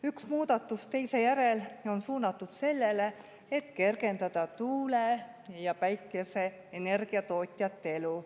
Üks muudatus teise järel on suunatud sellele, et kergendada tuule- ja päikeseenergia tootjate elu.